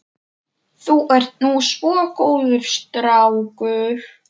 Þú ert nú svo góður strákur.